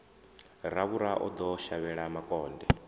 ravhura o ḓo shavhela makonde